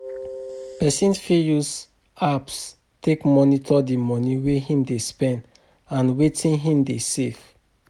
Person fit use apps take monitor di money wey him dey spend and wetin him dey save